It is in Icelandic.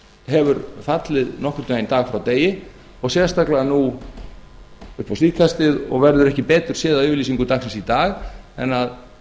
hefur fallið nokkurn veginn dag frá degi og sérstaklega nú upp á síðkastið og verður ekki betur séð af yfirlýsingu dagsins í dag en